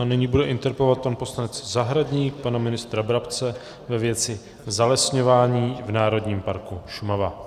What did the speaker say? A nyní bude interpelovat pan poslanec Zahradník pana ministra Brabce ve věci zalesňování v Národním parku Šumava.